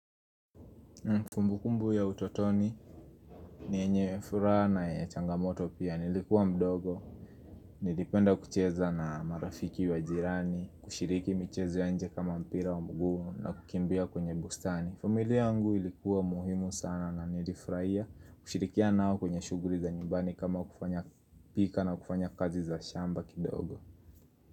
Kumbukumbu ya utotoni ni yenye furaha na ya changamoto pia nilikuwa mdogo Nilipenda kucheza na marafiki wa jirani, kushiriki michezo ya nje kama mpira wa mguu na kukimbia kwenye bustani familia yangu ilikuwa muhimu sana na nilifurahia kushirikiana nao kwenye shuguli za nyumbani kama kupika na kufanya kazi za shamba kidogo.